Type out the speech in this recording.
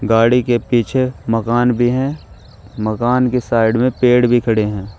गाड़ी के पीछे मकान भी हैं मकान के साइड में पेड़ भी खड़े हैं।